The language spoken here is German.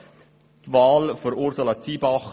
Zur Wahl von Ursula Zybach.